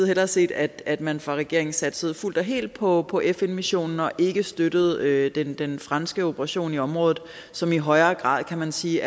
hellere set at at man fra regeringens side satsede fuldt og helt på på fn missionen og ikke støttede den den franske operation i området som i højere grad kan man sige